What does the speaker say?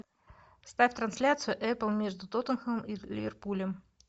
ставь трансляцию апл между тоттенхэмом и ливерпулем